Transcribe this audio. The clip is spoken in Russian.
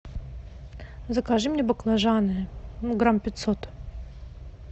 закажи мне баклажаны грамм пятьсот